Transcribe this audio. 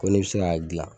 Ko ne bɛ se k'a dilan